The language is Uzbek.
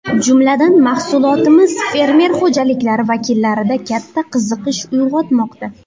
Jumladan, mahsulotimiz fermer xo‘jaliklari vakillarida katta qiziqish uyg‘otmoqda.